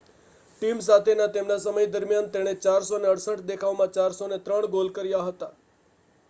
team સાથેના તેમના સમય દરમિયાન તેણે 468 દેખાવમાં 403 ગોલ કર્યા હતા